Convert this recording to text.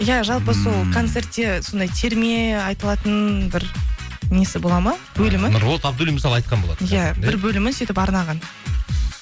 иә жалпы сол концертте сондай терме айтылатын бір несі бола ма бөлімі нұрболат абдуллин мысалы айтқан болатын иә бір бөлімін сөйтіп арнаған